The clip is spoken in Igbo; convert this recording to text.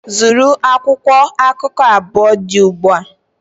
Zụrụ akwụkwọ akụkọ abụọ dị ugbu a!